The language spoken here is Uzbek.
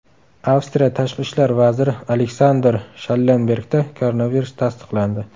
Avstriya tashqi ishlar vaziri Aleksandr Shallenbergda koronavirus tasdiqlandi.